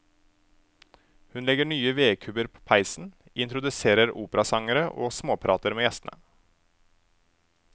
Hun legger nye vedkubber på peisen, introduserer operasangere og småprater med gjestene.